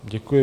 Děkuji.